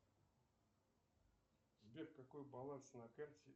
сбер какой баланс на карте